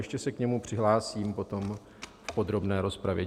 Ještě se k němu přihlásím potom v podrobné rozpravě.